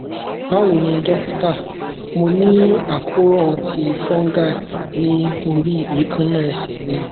bawo ni dókítà mo ni akoran ti fungal ni ori ekanna ese mì